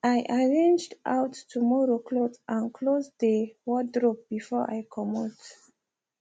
i arranged out tomorrow cloth and close dey wardrobe before i comot